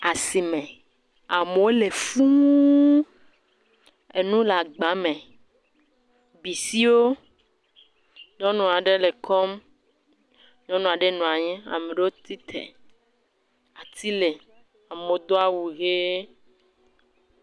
Asime. Amewo li fuu. Enu le agba me. Bisiwo, nyɔnua ɖe le kɔm. Nyɔnua ɖe nɔa anyi. Ame ɖewo tite. Ati le. Amewo do awu ʋee.